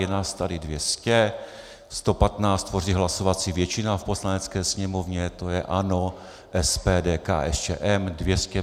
Je nás tady 200, 115 tvoří hlasovací většina v Poslanecké sněmovně, to je ANO, SPD, KSČM.